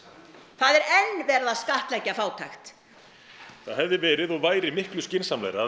það er enn verið að skattleggja fátækt það hefði verið og væri miklu skynsamlegra að